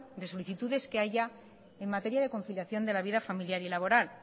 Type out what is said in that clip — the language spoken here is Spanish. de solicitudes que haya en materia de conciliación de la vida familiar y laboral